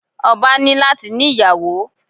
Ọba ní láti ní ìyàwó.